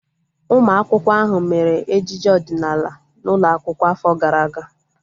Ụmụ akwụkwọ ahu mere ejije ọdịnala n'ụlọ akwụkwọ afọ gara aga